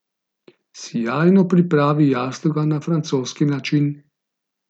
Sijajno pripravi jastoga na francoski način.